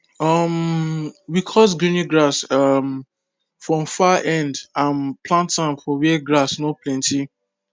um we cut guinea grass um from far end and plant am for where grass no plenty